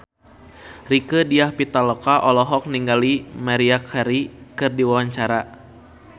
Rieke Diah Pitaloka olohok ningali Maria Carey keur diwawancara